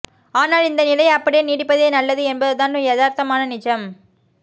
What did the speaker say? ஆனால் இந்த நிலை அப்படியே நீடிப்பதே நல்லது என்பதுதான் யதார்த்தமான நிஜம்